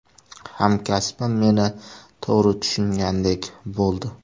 Hamkasbim meni to‘g‘ri tushungandek bo‘ldi.